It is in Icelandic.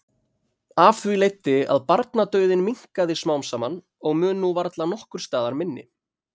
Af því leiddi að barnadauðinn minnkaði smám saman og mun nú varla nokkurs staðar minni.